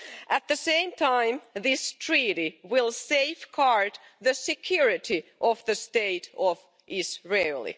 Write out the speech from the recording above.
At the same time, this treaty will safeguard the security of the State of Israel.